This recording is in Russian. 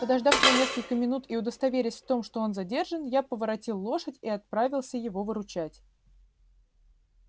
подождав его несколько минут и удостоверясь в том что он задержан я поворотил лошадь и отправился его выручать